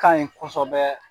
Kan ɲi kosɛbɛ.